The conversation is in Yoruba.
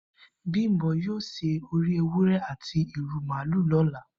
Bimbo yio se ori ewure ati iru maalu lola